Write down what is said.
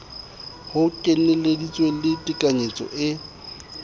ho kenyeleditse le tekanyetso e